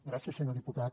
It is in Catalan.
gràcies senyor diputat